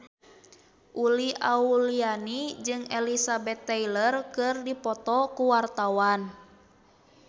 Uli Auliani jeung Elizabeth Taylor keur dipoto ku wartawan